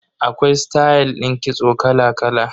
Akwai stayal din kitso kala kala.